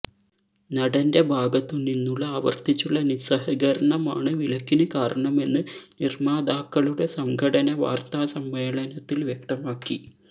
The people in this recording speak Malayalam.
നടന്റെ ഭാഗത്തു നിന്നുള്ള ആവർത്തിച്ചുള്ള നിസ്സഹകരണമാണ് വിലക്കിന് കാരണമെന്ന് നിര്മാതാക്കളുടെ സംഘടന വാര്ത്താ സമ്മേളനത്തില് വ്യക്തമാക്കി